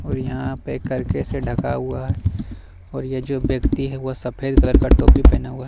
और यहां पे करके से ढका हुआ है और ये जो व्यक्ति है वह सफेद कलर का टोपी पहना हुआ।